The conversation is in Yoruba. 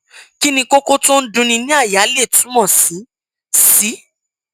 kí ni kókó tó ń dunni ní àyà lè túmọ sí sí